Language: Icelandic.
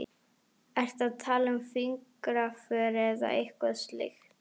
Ertu að tala um fingraför eða eitthvað slíkt?